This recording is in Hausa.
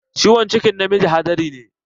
Ciwon cikin namiji hadari ne.